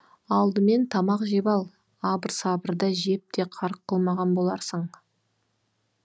алдымен тамақ жеп ал абыр сабырда жеп те қарық қылмаған боларсың